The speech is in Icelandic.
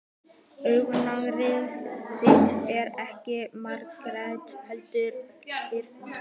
Augnaráð þitt er ekki margrætt heldur einrætt.